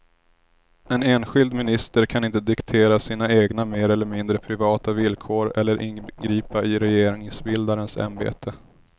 En enskild minister kan inte diktera sina egna mer eller mindre privata villkor eller ingripa i regeringsbildarens ämbete.